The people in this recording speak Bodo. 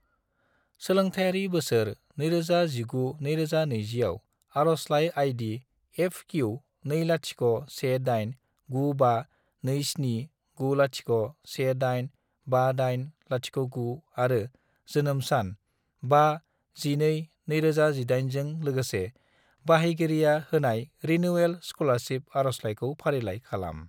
सोलोंथायारि बोसोर 2019 - 2020 आव आरजलाइ आई.डी. FQ2018952790185809 आरो जोनोम सान 5-12-2018 जों लोगोसे बाहायगिरिया होनाय रिनिउयेल स्कलारसिप आरजलाइखौ फारिलाइ खालाम।